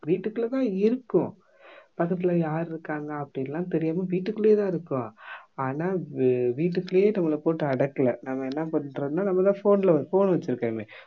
வீட்டுக்குள்ள தான் இருக்கோம் பக்கத்துல யாரு இருக்காங்க அப்படின்னுலாம் தெரியாம வீட்டுக்குள்ளயே தான் இருக்கோம் ஆனா வீ வீட்டுக்குள்ளயே நம்மளை போட்டு அடக்கல நாம என்ன பண்றோம்னா நம்ம தான் phone ல phone வெச்சிருக்கோமே